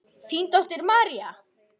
Þín dóttir, María.